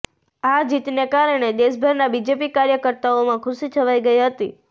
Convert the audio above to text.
આ જીતને કારણે દેશભરના બીજેપી કાર્યકર્તાઓમાં ખુશી છવાઈ ગઈ હતી